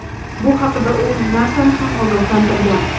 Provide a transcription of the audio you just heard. Bu haqda u NASA’ni ham ogohlantirgan.